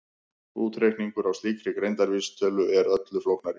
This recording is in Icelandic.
Útreikningur á slíkri greindarvísitölu er öllu flóknari.